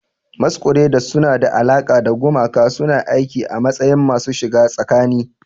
Masquerades suna da alaƙa da gumaka, suna aiki a matsayin masu shiga tsakani.